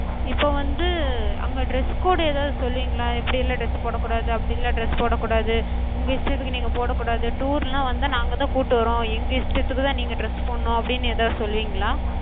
இப்ப வந்து அங்க dress code எதாது சொல்லுவிங்களா? இப்டிலா dress போடக் கூடாது அப்டிலா dress போடக் கூடாது, உங்க இஷ்டத்துக்கு நீங்க போடக் கூடாது. tour னு வந்தா நாங்கதா கூட்டு வர்றோ. எங்க இஷ்டத்துக்குதா நீங்க dress போடனு அப்டினு எதாது சொல்லுவிங்களா?